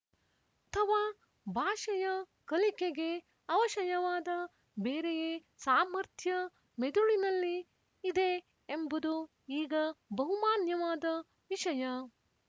ಅಥವಾ ಭಾಷೆಯ ಕಲಿಕೆಗೆ ಅವಶಯವಾದ ಬೇರೆಯೇ ಸಾಮರ್ಥ್ಯ ಮೆದುಳಿನಲ್ಲಿ ಇದೆ ಎಂಬುದು ಈಗ ಬಹುಮಾನ್ಯವಾದ ವಿಶಯ